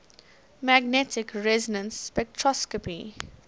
magnetic resonance spectroscopy